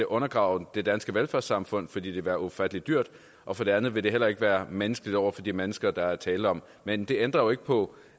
undergrave det danske velfærdssamfund fordi det vil være ufatteligt dyrt og for det andet vil det heller ikke være menneskeligt over for de mennesker der er tale om men det ændrer jo ikke på